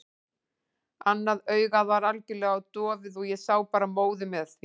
Annað augað var algjörlega dofið og ég sá bara móðu með því.